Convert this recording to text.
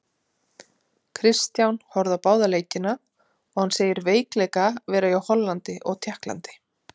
Kristján horfði á báða leikina og hann segir veikleika vera hjá Hollandi og Tékklandi.